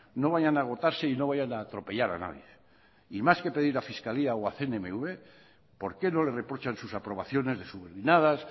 no vayan a agotarse y no vayan a atropellar a nadie y más que pedir a fiscalía o a cmnv por qué no le reprochan sus aprobaciones de subordinadas